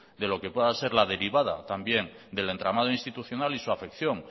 de lo que pueda ser la derivada también del entramado institucional y su afección